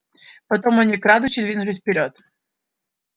потом они крадучись двинулись вперёд